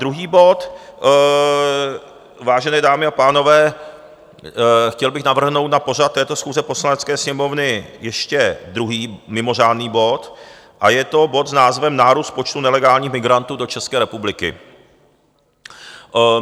Druhý bod, vážené dámy a pánové, chtěl bych navrhnout na pořad této schůze Poslanecké sněmovny ještě druhý mimořádný bod a je to bod s názvem Nárůst počtu nelegálních migrantů do České republiky.